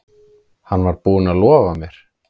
Hann var búinn að lofa mér.